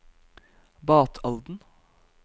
Batalden